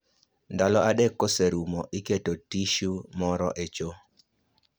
Ndalo adek koserumo, iketo tishu moro e cho